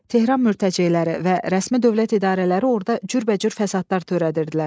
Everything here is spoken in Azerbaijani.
Tehran mürtəceyləri və rəsmi dövlət idarələri orda cürbəcür fəsadlar törədirdilər.